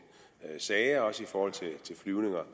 sager også i forhold til flyvninger